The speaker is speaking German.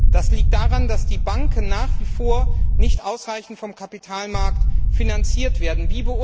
Das liegt daran, dass die Banken nach wie vor nicht ausreichend vom Kapitalmarkt finanziert werden.